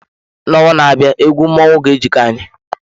N'ọnwa na-abịa egwu mmọnwụ ga-ejiko anyị.